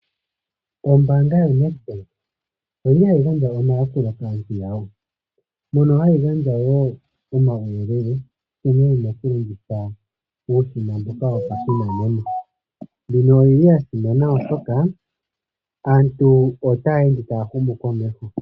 Ombanga yoNedbank oyili hayi gandja omayakulo kaantu yawo mono hayi gandja wo omawuyelele nkene tuna oku longitha uushina mboka wopashinanena. Mbino oyili yasimana oshoka aantu otaya ende taya humu komeho.